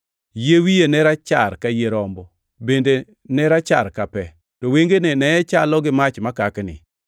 Yie wiye ne rachar ka yie rombo, bende ne rachar ka pe, to wengene ne chalo gi mach makakni.